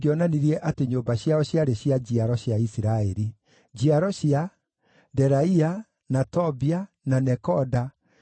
gũtatarĩtwo ndungata ciao cia arũme na cia andũ-a-nja 7, 337; ningĩ nĩ maarĩ na aini arũme na andũ-a-nja 245.